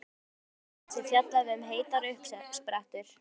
tveimur bréfa hans er fjallað um heitar uppsprettur.